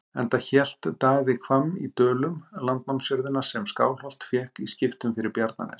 Enda hélt Daði Hvamm í Dölum, landnámsjörðina sem Skálholt fékk í skiptum fyrir Bjarnanes.